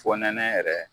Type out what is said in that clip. Fonɛnɛ yɛrɛ